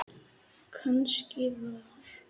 Kannski var